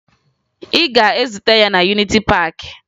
Ị ga-ezute ya na Yuniti Paakị!